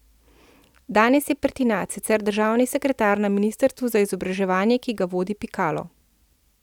Danes je Pertinač sicer državni sekretar na ministrstvu za izobraževanje, ki ga vodi Pikalo.